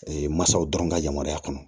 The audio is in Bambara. masaw dɔrɔn ka yamaruya kɔnɔ